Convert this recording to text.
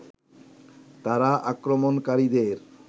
তারা আক্রমণকারীদের